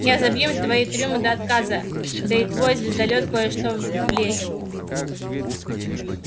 я забью им свои трюмы до отказа да и в твой звездолёт кое-что влезет